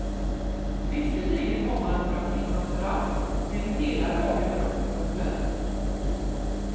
Visserligen har man några timmars rast, men hela dagen är uppbunden.